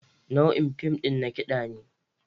Nau'in fim ɗin na kiɗa ne.